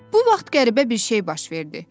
Bu vaxt qəribə bir şey baş verdi.